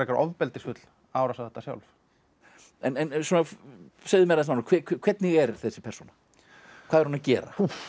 ofbeldisfull árás á þetta sjálf en segðu mér aðeins nánar hvernig er þessi persóna hvað er hún að gera